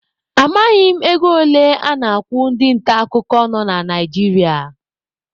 Amaghị m ego ole a na-akwụ ndị nta akụkọ nọ na Naijiria.